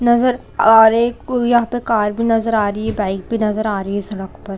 नज़र आ रही है कोई यहाँ पे कार भी नज़र आ रही बाइक भी नज़र आ रही सड़क पर--